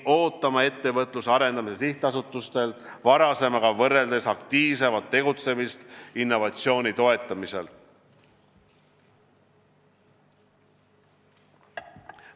Ootame Ettevõtluse Arendamise Sihtasutuselt varasemaga võrreldes aktiivsemat tegutsemist innovatsiooni toetamisel.